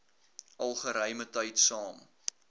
al geruimetyd saam